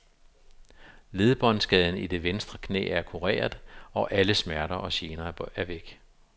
Ledbåndskaden i det venstre knæ er kureret, og alle smerter og gener er væk.